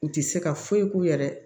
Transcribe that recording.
U tɛ se ka foyi k'u yɛrɛ ye